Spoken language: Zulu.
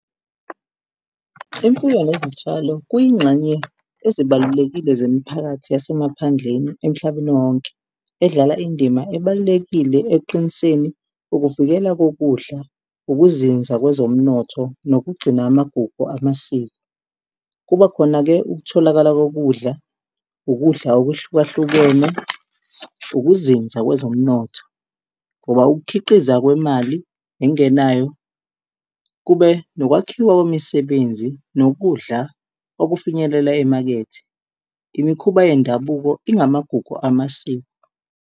Imfuyo nezitshalo kuyingxenye ezibalulekile zemiphakathi yasemaphandleni emhlabeni wonke edlala indima ebalulekile ekuqiniseni ukuvikela kokudla, ukuzinza kwezomnotho nokugcina amagugu amasiko. Kubakhona-ke ukutholakala kokudla, ukudla okuhlukahlukene, ukuzinza kwezomnotho ngoba ukukhiqiza kwemali nengenayo kube nokwakhiwa kwemisebenzi nokudla okufinyelela emakethe. Imikhuba yendabuko ingamagugu amasiko.